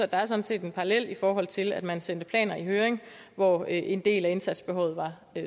der er sådan set en parallel i forhold til det at man sendte planer i høring hvoraf en del af indsatsbehovet var